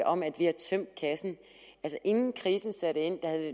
om at vi har tømt kassen altså inden krisen satte ind havde